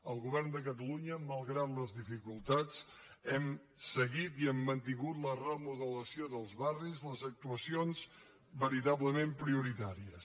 el govern de catalunya malgrat les dificultats hem seguit i hem mantingut la remodelació dels barris les actuacions veritablement prioritàries